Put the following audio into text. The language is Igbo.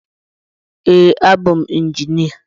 Ee abụ m injinia